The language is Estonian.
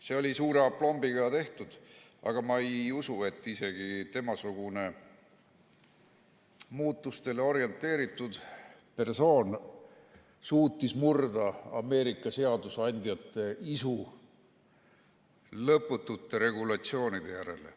See oli suure aplombiga tehtud, aga ma ei usu, et isegi temasugune muutustele orienteeritud persoon suutis murda Ameerika seadusandjate isu lõputute regulatsioonide järele.